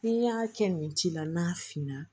N'i y'a kɛ nin ci la n'a finna